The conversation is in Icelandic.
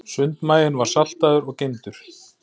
Sundmaginn var saltaður og geymdur.